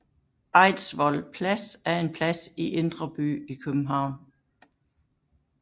Eidsvoll Plads er en plads i Indre By i København